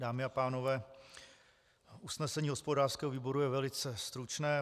Dámy a pánové, usnesení hospodářského výboru je velice stručné.